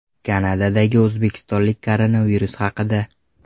Kanadadagi o‘zbekistonlik koronavirus haqida.